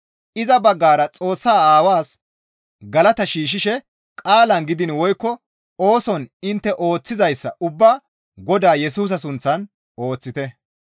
Iza baggara Xoossaa Aawaas galata shiishshishe qaalan gidiin woykko ooson intte ooththizayssa ubbaa Godaa Yesusa sunththan ooththite.